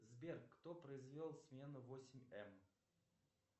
сбер кто произвел смену восемь эм